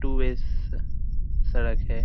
To ways सड़क है।